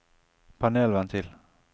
panelventil